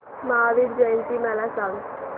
महावीर जयंती मला सांगा